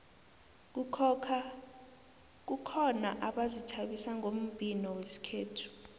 kukhona abazithabisa ngombhino wesikhethu